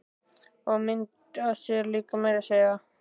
Og mynd af sér líka meira að segja.